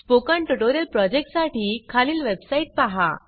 spoken tutorial project साठी खालील website पहा